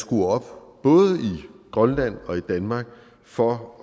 skruer op både i grønland og i danmark for